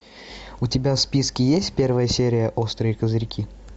у тебя в списке есть первая серия острые козырьки